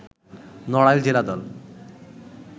নড়াইল জেলা দল